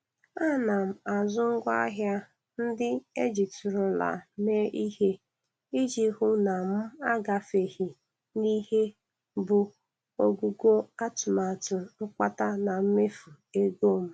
Ana m azụ ngwa ahịa ndị e jitụrụla mee ihe iji hụ na m agafeghị n'ihe bụ ogugo atụmatụ mkpata na mmefu ego m.